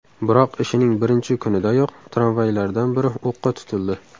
Biroq ishining birinchi kunidayoq tramvaylardan biri o‘qqa tutildi.